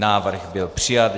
Návrh byl přijat.